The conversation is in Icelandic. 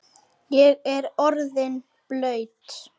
Ég er orðinn blaut